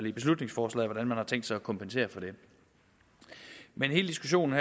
i beslutningsforslaget til hvordan man har tænkt sig at kompensere for det hele diskussionen